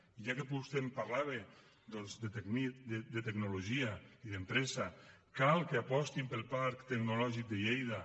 i ja que vostè em parlava doncs de tecnologia i d’empresa cal que apostin pel parc tecnològic de lleida